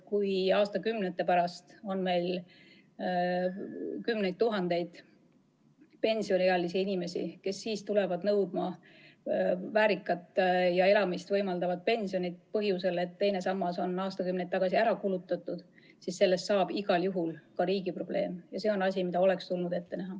Kui aastakümnete pärast on meil kümneid tuhandeid pensioniealisi inimesi, kes tulevad nõudma väärikat ja äraelamist võimaldavat pensioni põhjusel, et teine sammas on aastakümneid tagasi ära kulutatud, siis sellest saab igal juhul ka riigi probleem, ja see on asi, mida tuleks ette näha.